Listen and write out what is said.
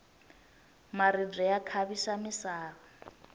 maribye ya khavisa misava